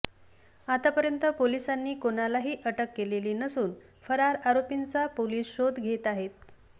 आतापर्यंत पोलिसांनी कोणालाही अटक केलेली नसून फरार आरोपींचा पोलिस शोध घेत आहेत